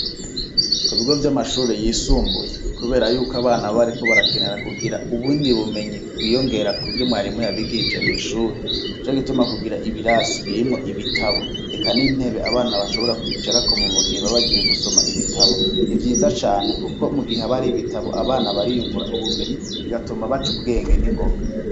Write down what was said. Ku bigo vy'amashure yisumbuye kubera yuko abana baba bariko barakenera kugira ubundi bumenyi bwiyongera kuvyo mwarimu yabigishije mw'ishure nico gituma kugira ibirasi birimwo ibitabo eka n'intebe abana bashobora kwicarako mu gihe baba bagiye gusoma ibitabo ni vyiza cane kuko mu gihe ha ba hari ibitabo abana bariyungura ubumenyi bigatuma baca ubwenge n'ingoga.